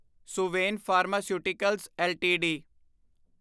Suven pharmaceuticals LTD